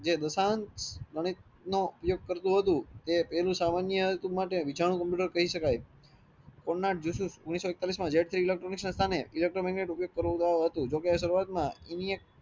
જે ગંઇથનોઉપયોગ કરતુ હતું તો તે પેલું સામાન્ય કમ્પ્યુટર કહી સકાય ઓટ જેસૂ ઓગણીસો એકતાલીસ ના સામે electro magnet ઉપયોગ કરવટો હતું જોકે સર્વાત્મ